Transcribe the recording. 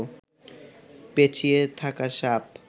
পেঁচিয়ে থাকা সাপ